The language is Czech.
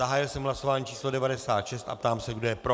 Zahájil jsem hlasování číslo 96 a ptám se, kdo je pro.